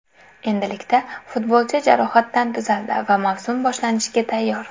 Endilikda futbolchi jarohatdan tuzaldi va mavsum boshlanishiga tayyor.